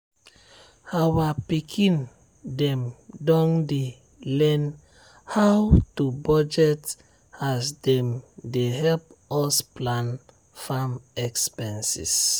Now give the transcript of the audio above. our pikin dem don dey learn how to budget as dem dey help us plan farm expenses.